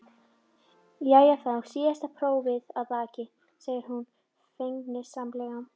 Jæja, þá er síðasta prófið að baki, segir hún feginsamlega.